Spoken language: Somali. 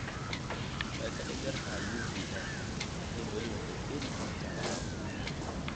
Way ka dhib yar tahay UVA, laakiin wali waxay keeni kartaa dhaawac.